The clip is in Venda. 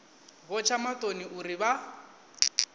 vho tsha maṱoni uri vha